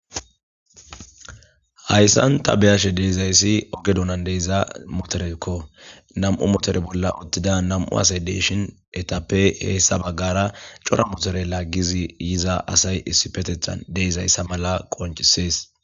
Hyyssan ta beyashe deizayssi ogedonan deeza motorekko namu motore bolla uttida nam'u asay deyshin etappe heessa baggara cora motore laaggizi yiza asay issi petethan deezayssa mala qoncisees.